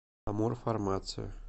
амурфармация